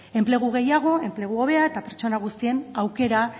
alde enplegu gehiago enplegu hobea eta pertsona guztien aukera